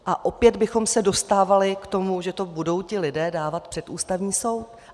A opět bychom se dostávali k tomu, že to budou ti lidé dávat před Ústavní soud.